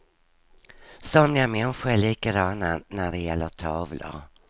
Somliga människor är likadana när det gäller tavlor.